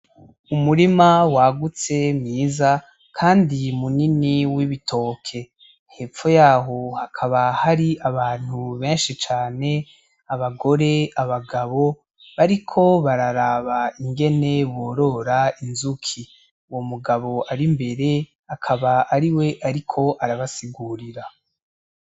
Umurima wagutse mwiza kandi munini w'ibitoke. Hepfo yaho hakaba hari abantu benshi cane, abagore ,abagabo bariko bararaba ingene borora inzuki uyo mugabo ari imbere, akaba ariwe ariko arabasigurira.